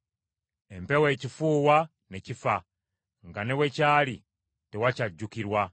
empewo ekifuuwa, ne kifa; nga ne we kyali tewakyajjukirwa.